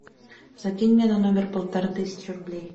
закинь мне на номер полторы тысячи рублей